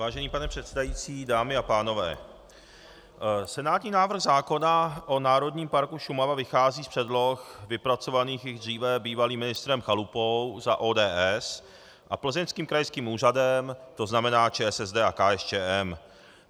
Vážený pane předsedající, dámy a pánové, senátní návrh zákona o Národním parku Šumava vychází z předloh vypracovaných již dříve bývalým ministrem Chalupou za ODS a plzeňským krajským úřadem, to znamená ČSSD a KSČM.